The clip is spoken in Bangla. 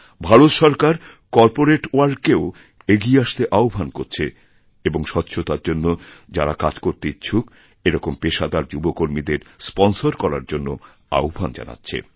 ভারত সরকার করপোরেটওয়ার্ল্ডকেও এগিয়ে আসতে আহ্বান করছে এবং স্বচ্ছতার জন্য যাঁরা কাজ করতে ইচ্ছুকএরকম পেশাদার যুবকর্মীদের স্পনসর করার জন্য আহ্বান জানাচ্ছে